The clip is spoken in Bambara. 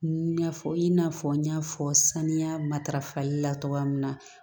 I n'a fɔ i n'a fɔ n y'a fɔ saniya matarafali la cogoya min na